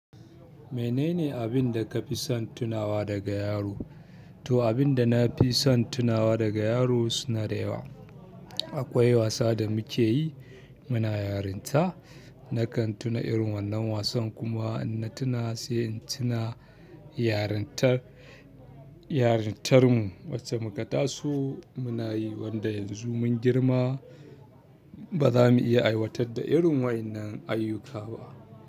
Menene abin da ka fi son tunawa daga yaro? Toh abinda nafison tunawa daga yaro suna da yawa. Akwai wasa da muke yi muna yarinta, nakan tuna irin wannan wasan kuma na tuna sai in tuna yarintar, yarintar mu wacce muka taso muna yi wanda yanzu mun girma bazamu iya aiwatar da irin wa yan nan ayyuka ba.